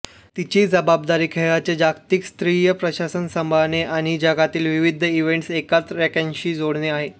तिची जबाबदारी खेळाचे जागतिक स्तरीय प्रशासन सांभाळणे आणि जगातील विविध इव्हेंट्स एकाच रॅंकिंगशी जोडणे आहे